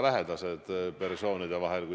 Aitäh!